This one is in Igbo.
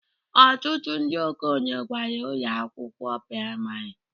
Ọtụtụ ndị okenye gara ụlọ akwụkwọ praịmarị